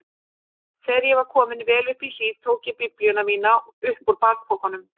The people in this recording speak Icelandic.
Þegar ég var kominn vel upp í hlíð tók ég biblíuna mína upp úr bakpokanum.